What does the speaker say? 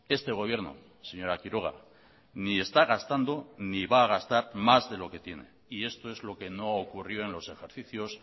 este gobierno señora quiroga ni está gastando ni va a gastar más de lo que tiene y esto es lo que no ocurrió en los ejercicios